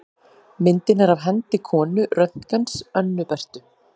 Myndin er af hendi konu Röntgens, Önnu Berthu.